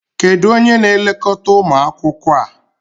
Kedu onye na-elekọta ụmụ akwụkwọ a?